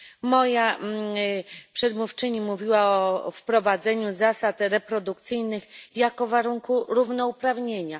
Moja przedmówczyni mówiła o wprowadzeniu zasad reprodukcyjnych jako o warunku równouprawnienia.